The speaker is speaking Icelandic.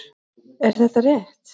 Er þetta rétt?